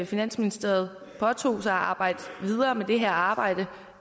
finansministeriet påtog sig at arbejde videre med det her arbejde